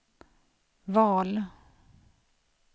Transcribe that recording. val